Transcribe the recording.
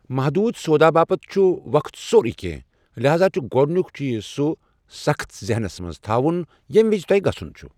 محدود سودا باپتھ چھ وقت سورٕے كٮ۪نٛہہ، لحاذا چھ گوڈنیک چیز سہ سخت ذحنس منز تھاون ییمہِ وِزِ تۄہہِ گژھن چھ۔